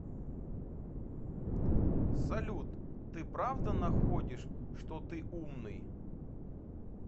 салют ты правда находишь что ты умный